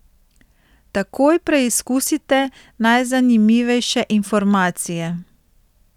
Takoj preizkusite najzanimivejše informacije.